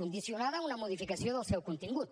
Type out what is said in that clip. condicionada a una modificació del seu contingut